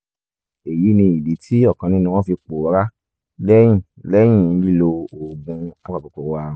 eyi ni idi ti ọkan ninu wọn fi pòórá lẹhin lẹhin lilo oògùn apakòkòrò ààrùn